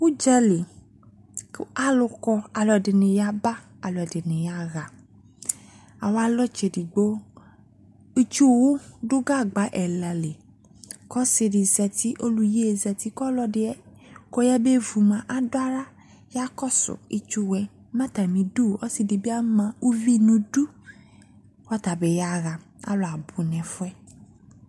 Udzali ko alu kɔ Alupde ne yaba, aluɛde ne yaha Awalɔ tsedigbo, itsuwu do gagba ɛla li ko ɔse de zati ko ɔlu yie zati ko ɔlɔde yabe vu moa ado ala ya kɔso itsuwuɛ Ma atame du ɔse de be ama uvi no du, ata be yaha Alu abu no ɛfuɛ